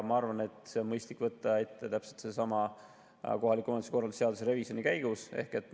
Ma arvan, et see on mõistlik võtta ette täpselt sellesama kohaliku omavalitsuse korralduse seaduse revisjoni käigus.